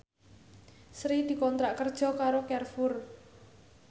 Sri dikontrak kerja karo Carrefour